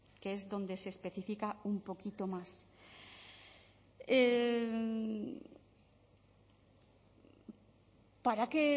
que es donde se especifica un poquito más para qué